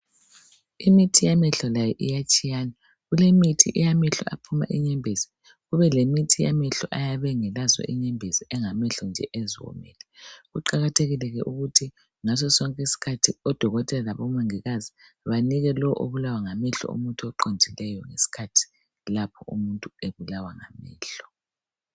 Imithi yamehlo layo iyatshiyana, kulemithi yamehlo aphuma inyembezi, kube lemithi yamehlo ayabe engelazo inyembezi engamehlo nje eziwomele. Kuqakathekile ke ukuthi ngaso sonke isikhathi odokotela labomongikazi banike lo obulawa ngamehlo umuthi oqondileyo ngesikhathi lapho umuntu ebulawa ngamehlo.